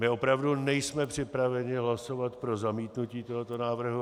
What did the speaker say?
My opravdu nejsme připraveni hlasovat pro zamítnutí tohoto návrhu.